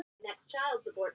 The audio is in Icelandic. Þau eru að koma til.